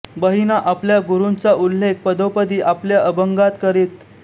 बहिणा आपल्या गुरूंचा उल्लेख पदोपदी आपल्या अभंगात करीत